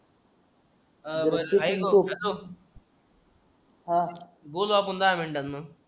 अ हा बोलू आपण दहा मिनिटांन